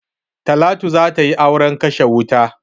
Talatu za ta yi auren kashe wuta.